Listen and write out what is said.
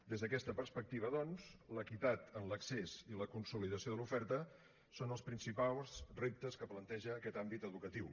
des d’aquesta perspectiva doncs l’equitat en l’accés i la consolidació de l’oferta són els principals reptes que planteja aquest àmbit educatiu